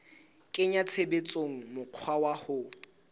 kenya tshebetsong mokgwa wa ho